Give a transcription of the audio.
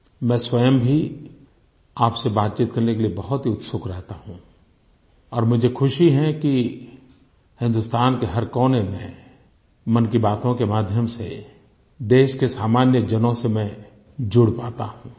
मैं स्वयं भी आपसे बातचीत करने के लिए बहुत ही उत्सुक रहता हूँ और मुझे खुशी है कि हिन्दुस्तान के हर कोने में मन की बातों के माध्यम से देश के सामान्यजनों से मैं जुड़ पाता हूँ